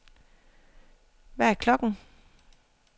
Hvad er klokken